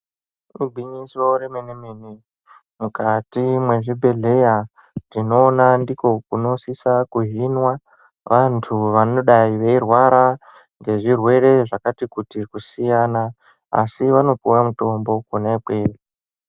Igwinyiso remene-mene, mukati mwezvibhedhleya, tinoona ndiko kunosisa kuhinwa vantu ,vanodayi veyirwara, ngezvirwere zvakati kuti kusiyana, asi vanopuwa mitombo kona ikweyo.